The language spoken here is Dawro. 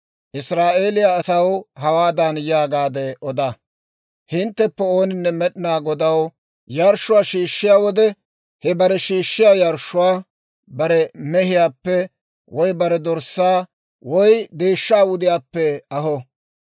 «Israa'eeliyaa asaw hawaadan yaagaade oda; ‹Hintteppe ooninne Med'inaa Godaw yarshshuwaa shiishshiyaa wode, he bare shiishshiyaa yarshshuwaa bare mehiyaappe woy bare dorssaa woy deeshshaa wudiyaappe aho.